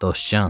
Dostcan,